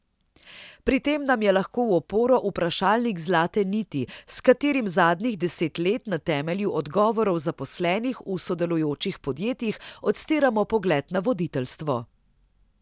Pri tem nam je lahko v oporo vprašalnik Zlate niti, s katerim zadnjih deset let na temelju odgovorov zaposlenih v sodelujočih podjetjih odstiramo pogled na voditeljstvo.